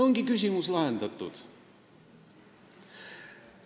Ongi küsimus lahendatud.